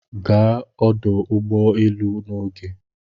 Gaa ọdụ ụgbọ elu n'oge